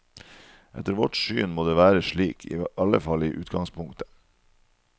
Etter vårt syn må det være slik, iallfall i utgangspunktet.